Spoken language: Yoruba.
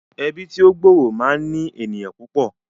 Ẹbí tí ó gbòòrò máa ń ní ènìyàn púpọ̀